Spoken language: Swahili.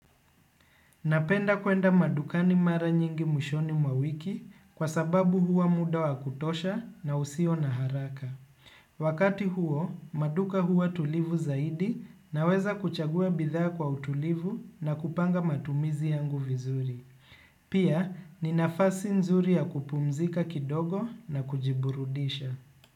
Napenda kuenda madukani mara nyingi mwishoni mwa wiki kwa sababu huwa muda wa kutosha na usio na haraka. Wakati huo, maduka huwa tulivu zaidi naweza kuchagua bidhaa kwa utulivu na kupanga matumizi yangu vizuri. Pia, ni nafasi nzuri ya kupumzika kidogo na kujiburudisha.